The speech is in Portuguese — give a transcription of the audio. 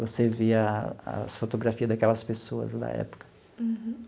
Você via as fotografias daquelas pessoas da época. Uhum.